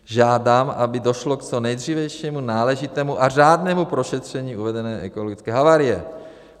Žádám, aby došlo k co nejdřívějšímu náležitému a řádnému prošetření uvedené ekologické havárie.